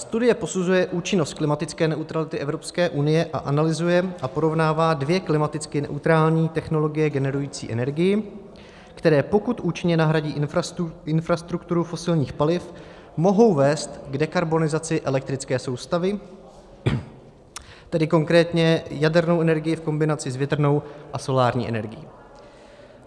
Studie posuzuje účinnost klimatické neutrality Evropské unie a analyzuje a porovnává dvě klimaticky neutrální technologie generující energii, které, pokud účinně nahradí infrastrukturu fosilních paliv, mohou vést k dekarbonizaci elektrické soustavy, tedy konkrétně jadernou energii v kombinaci s větrnou a solární energií.